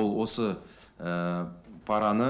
ол осы параны